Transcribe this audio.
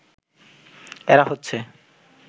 এরা হচ্ছে